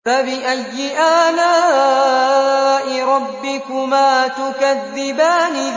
فَبِأَيِّ آلَاءِ رَبِّكُمَا تُكَذِّبَانِ